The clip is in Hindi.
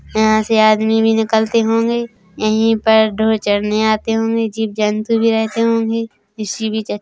यहाँ से आदमी भी निकलते होगे यही पर डोर चरने आते होंगे जीव जंतु भी आते होगे किसी भी--